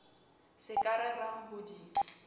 se ka rerang ho di